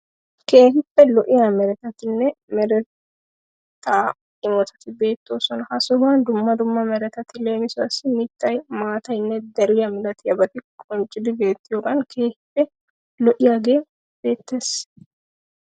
Keehippe lo'iya meretatinne mereta imotati beettoosona. Ha sohuwan dumma meretati leemisuwawu mittay, maataynne deriya milatiyabati qonccidi beettiyogaan keehippe lo'iyagee beettees.